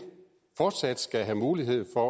fortsat skal have mulighed for